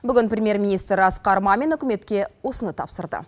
бүгін премьер министр асқар мамин үкіметке осыны тапсырды